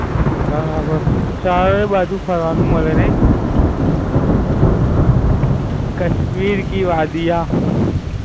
બરાબર. ચારેય બાજુ ફરવાનું મળે નઈ? ફિરકીવાડીયા